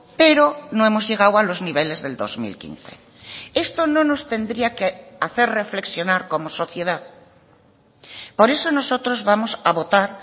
pero no hemos llegado a los niveles del dos mil quince esto no nos tendría que hacer reflexionar como sociedad por eso nosotros vamos a votar